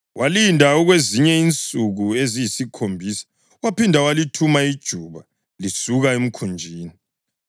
Walinda okwezinye insuku eziyisikhombisa waphinda walithuma ijuba lisuka emkhunjini.